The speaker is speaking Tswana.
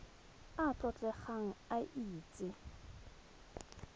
a a tlotlegang a itse